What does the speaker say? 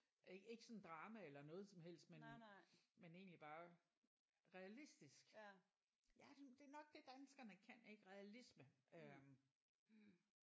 Øh ikke sådan drama eller noget som helst men men egentlig bare realistisk ja det det er nok det danskerne kan ik realisme øh